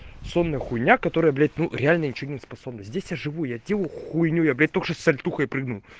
сонная хуйня которая блять ну реально ничего не способна здесь я живу я делаю хуйню я блять только что сальтухой прыгнул